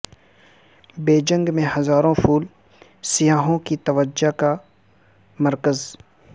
Beijing میں ہزاروں پھول سیاحوں کی توجہ کا مرکز